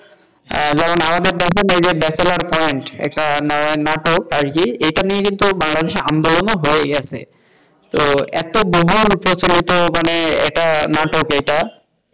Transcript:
বলেন এই যে আমাদের দেশে যে বেচেলার পয়েন্ট এটা নাটক আরকি এটা নিয়ে কিন্তু বাংলাদেশি আন্দোলনও হয়ে গেছে তো এত গভীর প্রচলিত মানে একটা নাটক এটা,